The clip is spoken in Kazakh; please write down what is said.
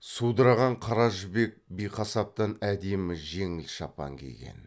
судыраған қара жібек биқасаптан әдемі жеңіл шапан киген